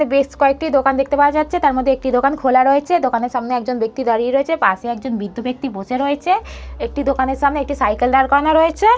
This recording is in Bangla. বেশ কয়েকটি দোকান দেখতে পাওয়া যাচ্ছে তার মধ্যে একটি দোকান খোলা রয়েছে দোকানের সামনে একজন ব্যক্তি দাঁড়িয়ে রয়েছে পাশে একজন বৃদ্ধ ব্যক্তি বসে রয়েছে একটি দোকানের সামনে একটি সাইকেল দাঁড় করানো রয়েছে।